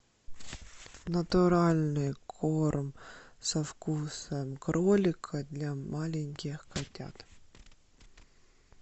натуральный корм со вкусом кролика для маленьких котят